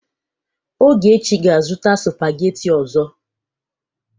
Ogechi ga-azụta sụpagheti ọzọ.